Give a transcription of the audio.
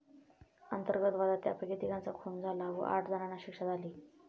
अंतर्गत वादात त्यापैकी तिघांचा खून झाला व आठ जणांना शिक्षा झाली.